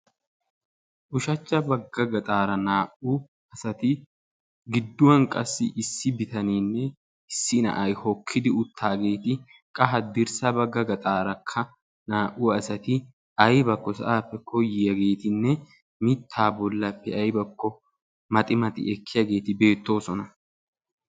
ushshachcha bagga gaxara naa"u asaati giduwan qassi issi biitanene issi naa'ay hokidi uttageti qa haddirssa bagga gaxaraka naa'u asaati aybako sa'appe koyiyagetine miitta bollape aybako maxxi maxxi ekkiyageti betosona.